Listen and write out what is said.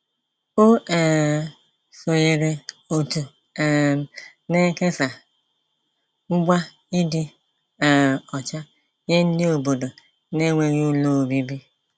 O um sonyeere òtù um na-ekesa ngwa ịdị um ọcha nye ndị obodo n'enweghị ụlọ obibi.